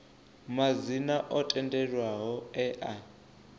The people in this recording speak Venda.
madzina o tendelwaho e a